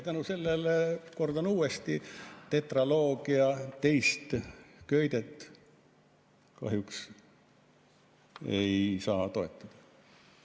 Selle tõttu, kordan uuesti, tetraloogia teist köidet kahjuks ei saa toetada.